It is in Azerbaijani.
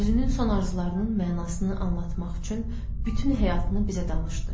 Özünün son arzularının mənasını anlatmaq üçün bütün həyatını bizə danışdı.